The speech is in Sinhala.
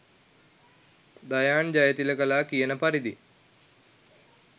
දයාන් ජයතිලකලා කියන පරිදි